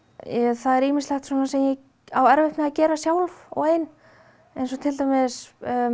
það er ýmislegt sem ég á erfitt með að gera sjálf og ein eins og til dæmis